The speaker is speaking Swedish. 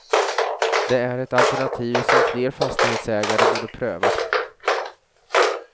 Det är ett alternativ som fler fastighetsägare borde pröva.